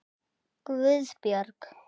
Guðbjörg